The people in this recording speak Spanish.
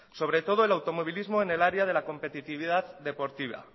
sobre todo en el automovilismo en el área de la competitividad deportiva